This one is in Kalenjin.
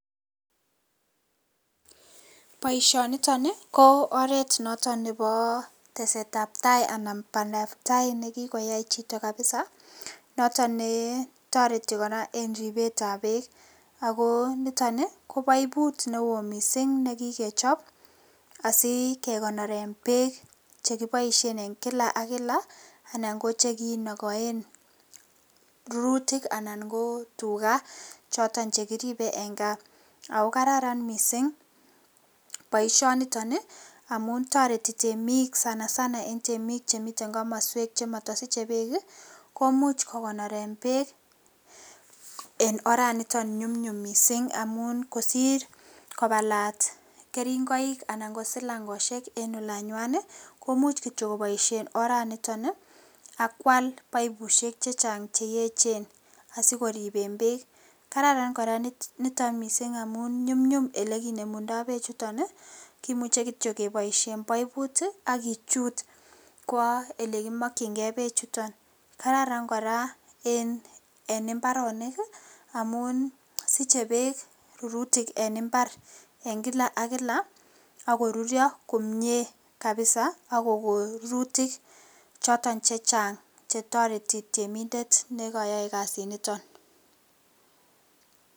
Boishoniton ii ko oret noton nebo tesetab tai anan bandab tai nekikoyai chito kabisa noton netoreti koraa en ribetab beek ako niton ii ko poiput newo missing' nekikechop asikekonoren beek chekiboishen en kila ak kila anan kochekinokoen rurutik anan kotugaa choton chekiribe en kaa, ako kararan missing' boisioniton ii amun toreti temik sana sana en temik chemiten komoswek chemotosiche beek ii komuch kokonoren beek en oraniton nyumnyum missing' amun kosir kobalat keringoik anan kosilangoshek en olanwany ii komuch kityok koboisien oraniton ii ak kwal poipushek chechang cheyechen asikoriben beek ,kararan koraa missing' niton amun nyumnyum elekinemundoi bechuton kimuche kityok keboisien poiput ii ak kichut kwoo ele kimokchingee bechuton, kararan koraa en imbaronik ii amun siche beek rurutik en imbar en kila ak kila] ak korurio komie kabisa ak kokon rurutik choton chechang chetoreti temindet nekoyoe kasiniton.